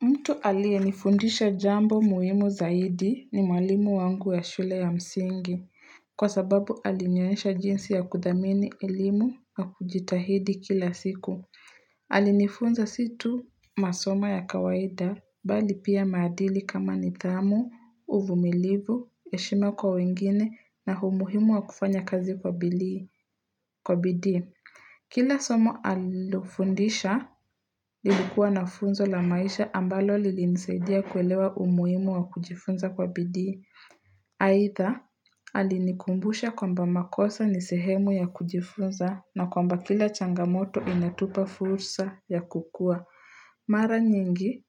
Mtu alie nifundisha jambo muhimu zaidi ni mwalimu wangu ya shule ya msingi. Kwa sababu alinionyesha jinsi ya kudamini elimu na kujitahidi kila siku. Alinifunza si tu masoma ya kawaida bali pia madili kama nitamu, uvumilivu, heshima kwa wengine na humuhimu wa kufanya kazi kwa bidii Kwa bidii, kila somo alofundisha lilikuwa nafunzo la maisha ambalo lilinsaidia kuelewa umuimu wa kujifunza kwa bidi. Haidha, alinikumbusha kwamba makosa ni sehemu ya kujifunza na kwamba kila changamoto inatupa fursa ya kukua. Mara nyingi,